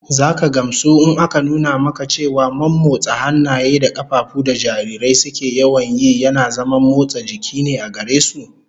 Zaka gamsu in aka nuna maka cewa mommotsa hannaye da kafafu da jarirai suke yawan yi yana zaman motsa jiki ne gare su